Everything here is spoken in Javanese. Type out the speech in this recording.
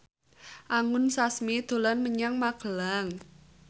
Anggun Sasmi dolan menyang Magelang